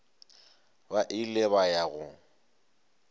ba ile ba ya go